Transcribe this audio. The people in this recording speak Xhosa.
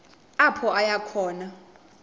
apho aya khona